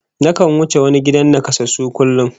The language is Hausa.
Nakan wuce wani gidan nakasassu kullum